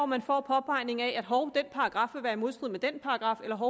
man får påpegningen af at den paragraf vil være i modstrid med den paragraf eller af